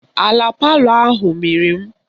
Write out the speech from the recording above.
Ala palọ ahụ mịrị m